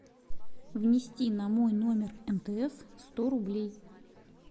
внести на мой номер мтс сто рублей